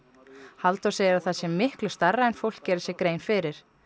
Halldór segir að það sé miklu stærra en fólk geri sér grein fyrir